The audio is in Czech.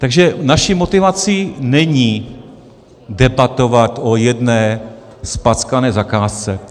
Takže naší motivací není debatovat o jedné zpackané zakázce.